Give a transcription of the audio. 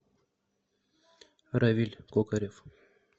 равиль кокарев